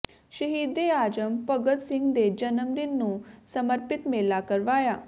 ਸ਼ਹੀਦੇ ਆਜਮ ਭਗਤ ਸਿੰਘ ਦੇ ਜਨਮ ਦਿਨ ਨੂੰ ਸਮਰਪਿਤ ਮੇਲਾ ਕਰਵਾਇਆ